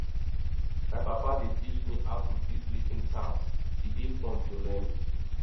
my papa dey teach me how to fix leaking taps e dey fun to learn